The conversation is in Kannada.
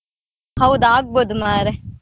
ಹೌದಾ ಆಗ್ಬೋದು ಮಾರ್ರೆ.